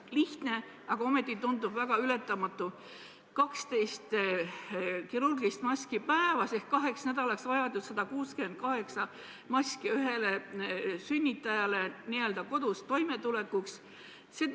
Lihtne, aga ometi tundub väga ületamatu: 12 kirurgilist maski päevas ehk kaheks nädalaks on vaja 168 maski ühele sünnitajale kodus toimetulekuks.